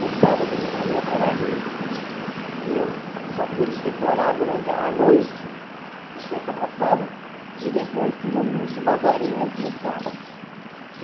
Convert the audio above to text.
No sábado de manhã eu trabalhei e eu só pude decorar durante a noite, da sexta para sábado, e depois tive uns umas horinhas no sábado.